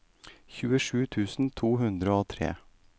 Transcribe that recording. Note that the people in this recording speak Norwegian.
tjuesju tusen to hundre og tre